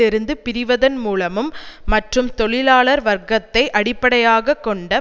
இருந்து பிரிவதன் மூலமும் மற்றும் தொழிலாளர் வர்க்கத்தை அடிப்படையாக கொண்ட